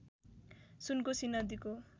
सुनकोसी नदीको